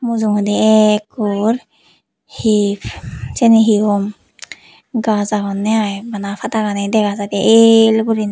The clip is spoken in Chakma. mujungedi ekkur he syeni he hom gaaj agonney ai bana padagani dega jaidey ell guriney.